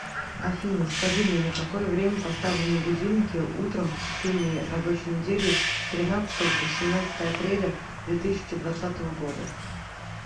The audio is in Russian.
афина скажи мне на какое время поставлены будильники утром в течение рабочей недели с тринадцатого по семнадцатое апреля две тысячи двадцатого года